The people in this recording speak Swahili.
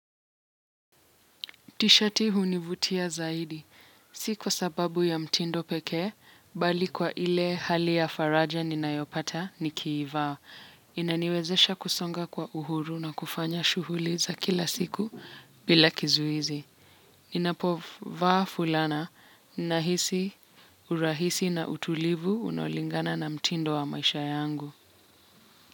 Tishati hunivutia zaidi. Si kwa sababu ya mtindo pekee, bali kwa ile hali ya faraja ninayopata nikiivaa inaniwezesha kusonga kwa uhuru na kufanya shughuli za kila siku bila kizuizi. Ninapovaa fulana, nahisi, urahisi na utulivu unaolingana na mtindo wa maisha yangu.